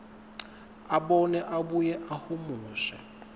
abone abuye ahumushe